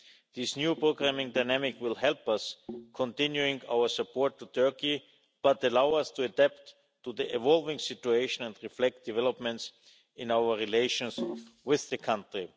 This new programming dynamic will help us continue our support to Turkey, but allow us to adapt to the evolving situation and reflect developments in our relations with the country.